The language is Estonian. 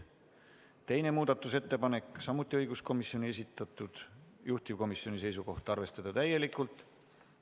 Teine muudatusettepanek on samuti õiguskomisjoni esitatud, juhtivkomisjoni seisukoht: arvestada seda täielikult.